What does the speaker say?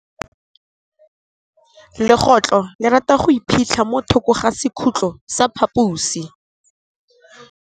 Legôtlô le rata go iphitlha mo thokô ga sekhutlo sa phaposi.